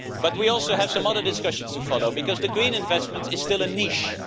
We also have some other discussions to follow, because green investment is still a niche